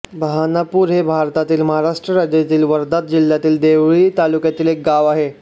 बऱ्हाणपूर हे भारतातील महाराष्ट्र राज्यातील वर्धा जिल्ह्यातील देवळी तालुक्यातील एक गाव आहे